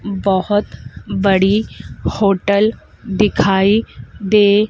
बहोत बड़ी होटल दिखाई दे--